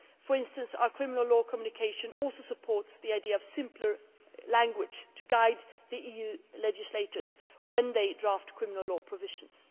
For instance, our criminal law communication also supports the idea of simpler language to guide EU legislators when they draft criminal law provisions.